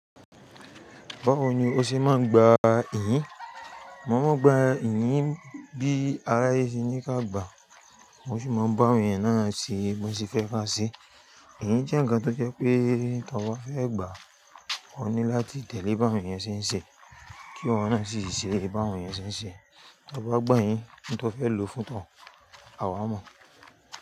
Báwo ni o ṣe máa ń gba ihin? Mo máa ń gba iyìn bí aráyé ṣe ní ká gbàá, mo sì máa ń bá awọn ènìyàn náà ṣe bó ti fẹ́ káa ṣe. Iyìn jẹ́ ǹkan tó jẹ́ pé kí tọ ba fẹ́ gbàá, òun ní láti tẹ̀lé báwọn èèyàn ṣe ń ṣe kí wọ́n sì ṣe bá èèyàn ṣe ń ṣe. Tọ bá gbà iyìn, ohun tó fẹ́ lò fún tọ̀, à waa mọ̀.